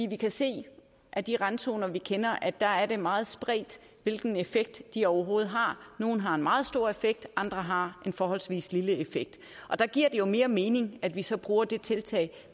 vi kan se af de randzoner vi kender at der er det meget spredt hvilken effekt de overhovedet har nogle har en meget stor effekt andre har en forholdsvis lille effekt og der giver det jo mere mening at vi så bruger de tiltag